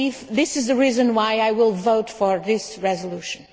This is the reason why I will vote for this resolution.